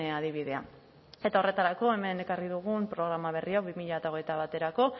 adibidea eta horretarako hemen ekarri dugun programa berria bi mila hogeita baterako